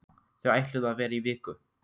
Þau ætluðu að vera í viku.